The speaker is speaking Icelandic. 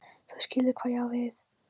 þú skilur hvað ég á við.